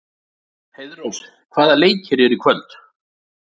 Heiðrós, hvaða leikir eru í kvöld?